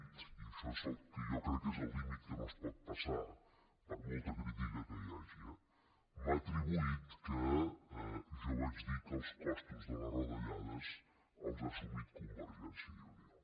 i això és el que jo crec que és el límit que no es pot passar per molta crítica que hi hagi eh m’ha atribuït que jo vaig dir que els costos de les retallades els ha assumit convergència i unió